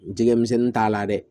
Jɛgɛmisɛnnin t'a la dɛ